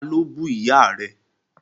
Ta ló bú ìyá rẹ?